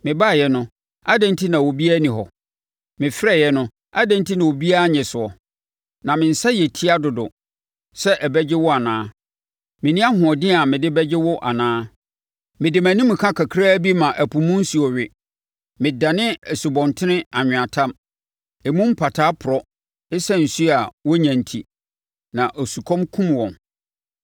Mebaeɛ no, adɛn enti na na obiara nni hɔ? Mefrɛeɛ no, adɛn enti na obiara annye soɔ? Na me nsa yɛ tia dodo sɛ ɛbɛgye wo anaa? Menni ahoɔden a mede bɛgye wo anaa? Mede mʼanimka kakra bi ma ɛpo mu nsuo we, medane nsubɔntene anweatam emu mpataa porɔ ɛsiane nsuo a wɔnnya enti na osukɔm kumm wɔn.